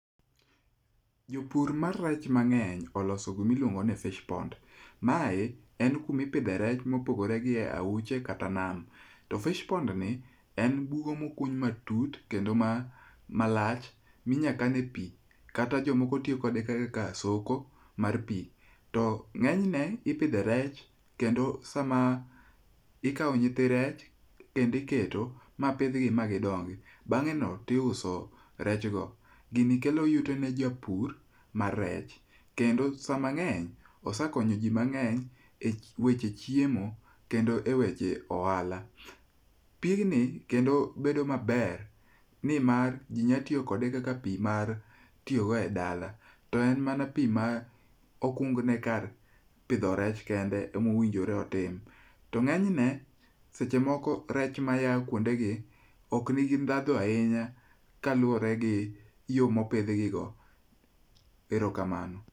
Jopur mar rech mang'eny oloso gima iluongo ni fish pond. Mae en kumipidhe rech ma opogore gi aoche kata nam. Fish pond ni en bugo mokuny matut kendo malach minyalo kanie pi kata jomoko tiyo kode kaka soko mar pi. To ng'eny ne ipidhe rech kendo sama ikawo nyithi rech kendo iketo ma pidhgi ma gidongi. Bang'eno to iuso rechgo. Gini kelo yuto ne japur mar rech kendo samang'eny osekonyo ji mang'eny eweche chiemo kendo eweche ohala. Pigni kendo bedo maber nimar ji nyalo tiyo kode kaka pi ma itiyogo edala. To en mana pi ma okung ni kar pidho rech kende emowinjore otim. To ng'enyne seche moko rech maya kuondegi ok nigi ndhadhu ahinya kaluwore gi kaka opidhgi. Erokamano.